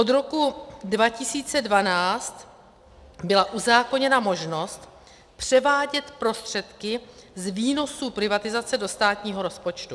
Od roku 2012 byla uzákoněna možnost převádět prostředky z výnosů privatizace do státního rozpočtu.